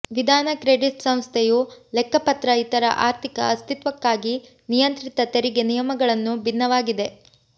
ವಿಧಾನ ಕ್ರೆಡಿಟ್ ಸಂಸ್ಥೆಯು ಲೆಕ್ಕಪತ್ರ ಇತರ ಆರ್ಥಿಕ ಅಸ್ತಿತ್ವಕ್ಕಾಗಿ ನಿಯಂತ್ರಿತ ತೆರಿಗೆ ನಿಯಮಗಳನ್ನು ಭಿನ್ನವಾಗಿದೆ